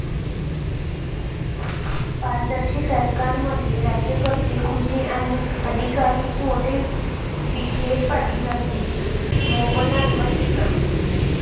पारदर्शी सरकारमध्ये राज्यकर्ते खुजे आणि अधिकारीच मोठे', विखेपाटीलांची मोपलवारांवर टीका